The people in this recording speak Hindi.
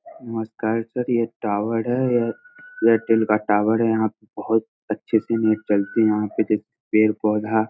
नमस्कार सर ये टावर है यह एयरटेल का टावर है यहाँ पे बहुत अच्छे से नेट चलती है यहाँ पे एक पेड़-पोधा --.